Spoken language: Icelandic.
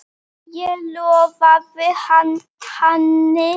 Ég lofaði henni því.